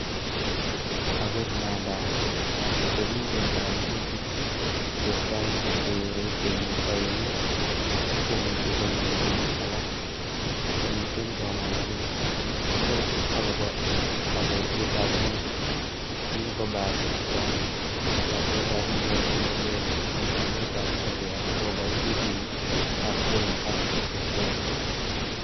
Agot ngandan komiten koimitik chetesetai che keere temik oengu ak komuche konyoru bik alak, komiten komongunet en ichek agobo oldoisietab ngwony, kin kobata yatet ab indonyo ne leel en emetab Korea agobo indisinik ab Kenya ak brocoli.